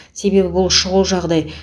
себебі бұл шұғыл жағдай